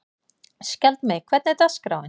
Skjaldmey, hvernig er dagskráin?